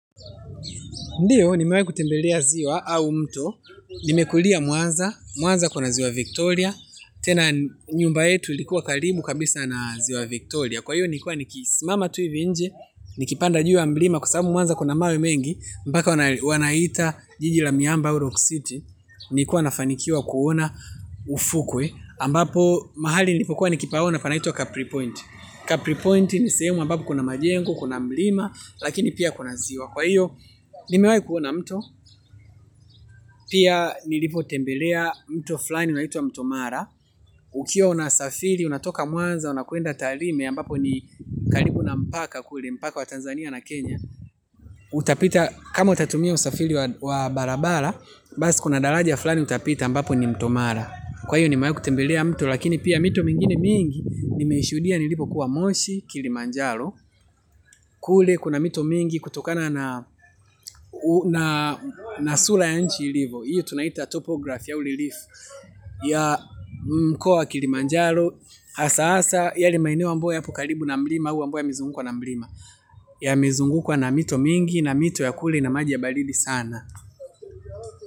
Ndio, nimewahi kutembelea ziwa au mto. Nimekulia mwanza, mwanza kuna ziwa Victoria. Tena nyumba yetu likuwa karibu kabisa na ziwa Victoria. Kwa hiyo nilikua nikisimama tu ivi nje, nikipanda juu ya mlima kwasababu mwanza kuna mawe mengi. Mpaka wanaita jiji la miamba au rock city nilikua na fanikiwa kuona ufukwe. Ambapo, mahali nilipokua nikipaona panaitwa Capri Point. Capri Point ni sehemu ambapo kuna majengo, kuna mlima, lakini pia kuna ziwa. Kwa hiyo, nimewahi kuona mto, pia nilipo tembelea mto fulani unaitwa mto mara. Ukiwa unasafiri, unatoka mwanza, unakuenda tarime, ambapo ni karibu na mpaka kule mpaka wa Tanzania na Kenya. Utapita, kama utatumia usafiri wa barabara, basi kuna daraja fulani utapita ambapo ni mto mara. Kwa hiyo, nime wahi kutembelea mto, lakini pia mito mingine mingi, nimeishudia nilipo kuwa moshi, kilimanjalo. Kule kuna mito mingi kutokana na sura ya nchi ilivo. Hiyo tunaita topograph au relief ya mkoa wa kilimanjaro hasa hasa yale maeneo ambayo yapo karibu na mlima au ambayo yamezungukwa na mlima yamezungukwa na mito mingi na mito ya kule ina maji ya baridi sana.